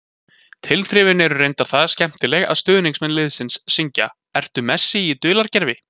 Tilþrifin eru reyndar það skemmtileg að stuðningsmenn liðsins syngja: Ertu Messi í dulargervi?